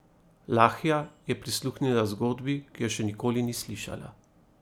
Lahja je prisluhnila zgodbi, ki je še nikoli ni slišala.